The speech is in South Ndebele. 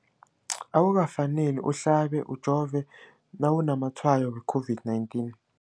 Akuka faneli uhlabe, ujove nawu namatshayo we-COVID-19.